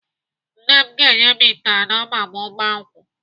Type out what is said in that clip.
Nne m ga-enye m ite anọ ma mụ gbaa nkwụ.